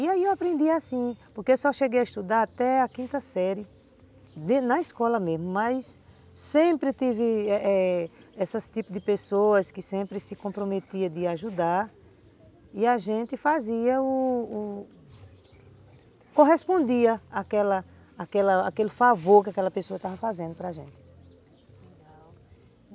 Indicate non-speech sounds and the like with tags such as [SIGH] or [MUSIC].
E aí eu aprendi assim, porque eu só cheguei a estudar até a quinta série, [UNINTELLIGIBLE] na escola mesmo, mas sempre tive eh eh esses tipos de pessoas que sempre se comprometiam de ajudar e a gente fazia o... correspondia aquela aquele favor que aquela pessoa estava fazendo para a gente.